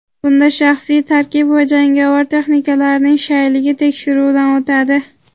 Bunda shaxsiy tarkib va jangovar texnikalarning shayligi tekshiruvdan o‘tadi.